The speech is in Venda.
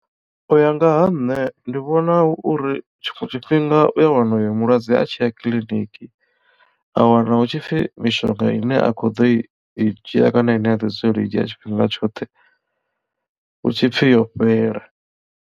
U ya nga ha nṋe ndi vhona hu uri tshiṅwe tshifhinga u ya wana uyo mulwadze a tshi ya kiḽiniki a wana hu tshipfi mishonga ine a kho ḓo i i dzhia kana ine a ḓi dzulela u i dzhia tshifhinga tshoṱhe hu tshipfi yo fhela.